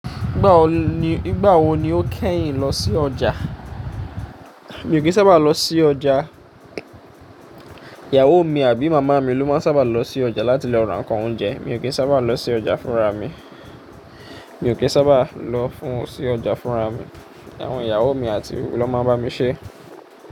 Nígbà wo ni, nígbà wo ni o kẹ́yìn lọ sí ọjà? Mi ò kí sábà lọ sí ọjà. Ìyàwó mi àbí màmá mi ló máa ń sábà lọ sí ọjà láti lọ ra nnkan oúnjẹ. Mi ò kí sábà lọ sí ọjà fúnra mi. Mi ò kí sábà lọ fún sí ọjà fúnra mi. Awon iyawo mi ati lo maa n bamise.